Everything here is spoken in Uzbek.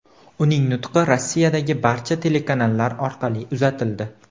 Uning nutqi Rossiyadagi barcha telekanallar orqali uzatildi.